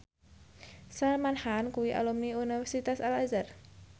Salman Khan kuwi alumni Universitas Al Azhar